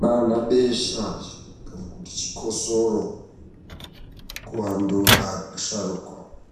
naanabesha, kana kuti chikhosoro, kuantu asharuka.